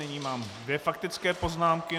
Nyní mám dvě faktické poznámky.